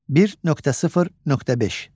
1.0.5.